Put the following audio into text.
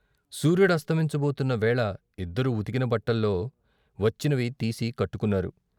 సూర్యుడస్తమించబోతున్న వేళ ఇద్దరూ ఉతికిన బట్టల్లో వచ్చినవి తీసి కట్టుకొన్నారు.